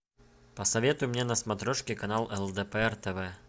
посоветуй мне на смотрешке канал лдпр тв